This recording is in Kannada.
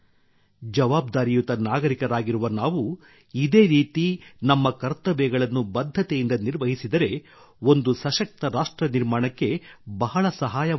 ಜವಾಬ್ದಾರಿಯುತ ನಾಗರಿಕರಾಗಿರುವ ನಾವು ಇದೇ ರೀತಿ ನಮ್ಮ ಕರ್ತವ್ಯಗಳನ್ನು ಬದ್ಧತೆಯಿಂದ ನಿರ್ವಹಿಸಿದರೆ ಒಂದು ಸಶಕ್ತ ರಾಷ್ಟ್ರ ನಿರ್ಮಾಣಕ್ಕೆ ಬಹಳ ಸಹಾಯವಾಗುತ್ತದೆ